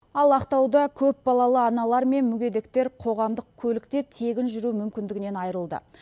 ал ақтауда көпбалалы аналар мен мүгедектер қоғамдық көлікте тегін жүру мүмкіндігінен айырылды